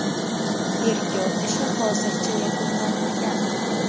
Tergov ishi hozircha yakunlanmagan.